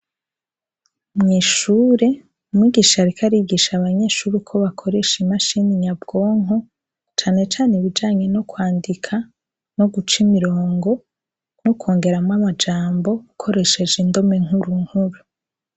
Mwishure umwigisharika arigisha abanyeshuri uko bakoresha imashini nyabwonko canecane ibijanye no kwandika no guca imirongo no kwongeramwo amajambo gukoresheje indome nkuru nkuru.